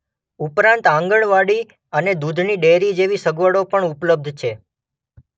ઉપરાંત આંગણવાડી અને દુધની ડેરી જેવી સગવડો પણ ઉપલબ્ધ છે.